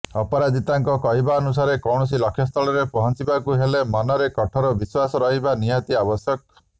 ଅପରାଜିତାଙ୍କ କହିବାନୁସାରେ କୌଣସି ଲକ୍ଷ୍ୟସ୍ଥଳରେ ପହଞ୍ଚିବାକୁ ହେଲେ ମନରେ କଠୋର ବିଶ୍ୱାସ ରହିବା ନିହାତି ଆବଶ୍ୟକ